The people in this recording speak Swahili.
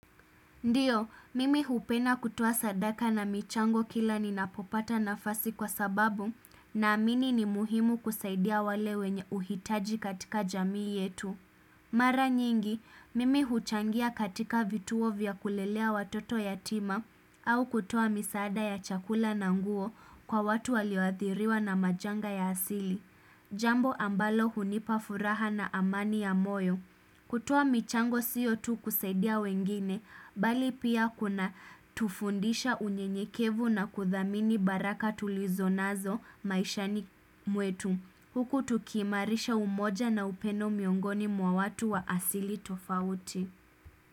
Ndio, mimi hupenda kutoa sadaka na michango kila ninapopata nafasi kwa sababu na amini ni muhimu kusaidia wale wenye uhitaji katika jamii yetu. Mara nyingi, mimi huchangia katika vituo vya kulelea watoto yatima au kutoa misaada ya chakula na nguo kwa watu walioathiriwa na majanga ya asili. Jambo ambalo hunipafuraha na amani ya moyo. Kutoa michango sio tu kusaidia wengine, bali pia kunatufundisha unyenyekevu na kuthamini baraka tulizonazo maishani mwetu. Huku tukiimarisha umoja na upendo miongoni mwa watu wa asili tofauti.